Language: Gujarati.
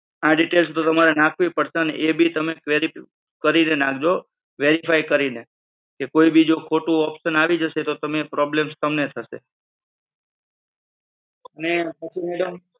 આ details તમારે નાખવી પડશે અને એ ભી તમે query કરીને નાખજો verify કરીને કે કોઈ બીજું ખોટું option આવી જશે તો problems તમને થશે. અને પછી મેડમ